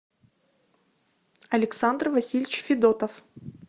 александр васильевич федотов